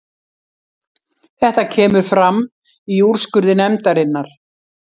Þetta kemur fram í úrskurði nefndarinnar